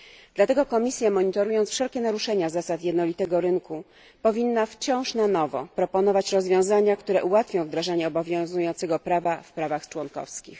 Dlatego Komisja, monitorując wszelkie naruszenia zasad jednolitego rynku, powinna wciąż na nowo proponować rozwiązania, które ułatwią wdrażanie obowiązującego prawa w państwach członkowskich.